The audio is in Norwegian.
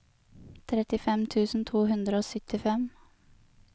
trettifem tusen to hundre og syttifem